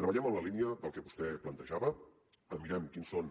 treballem en la línia del que vostè plantejava mirem quines són